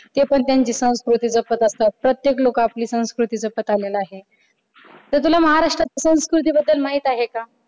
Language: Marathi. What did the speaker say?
ते पण आपली संस्कृती जपत असत प्रत्येक लोक आपली संस्कृती जपत आलेला आहे तर तुला महाराष्ट्राच्या संस्कृतीबद्दल माहित आहे का?